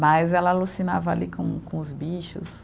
Mas ela alucinava ali com com os bichos.